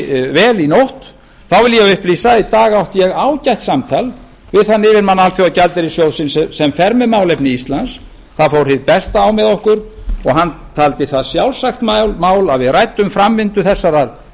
vel í nótt þá vil ég upplýsa að í dag átti ég ágætt samtal við þann yfirmann alþjóðagjaldeyrissjóðsins sem fer með málefni íslands það fór hið besta á með okkur og hann taldi það sjálfsagt mál að við ræddum framvindu þessarar